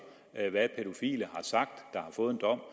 hvad pædofile der har fået en dom